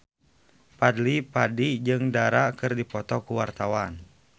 Fadly Padi jeung Dara keur dipoto ku wartawan